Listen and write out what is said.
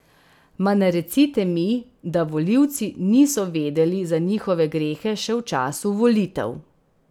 Ma ne recite mi, da volivci niso vedeli za njihove grehe še v času volitev!